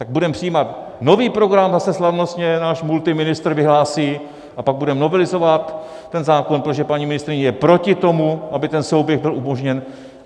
Tak budeme přijímat nový program, zase slavnostně náš multiministr vyhlásí, a pak budeme novelizovat ten zákon, protože paní ministryně je proti tomu, aby ten souběh byl umožněn.